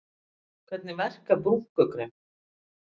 Hvernig verka brúnkukrem?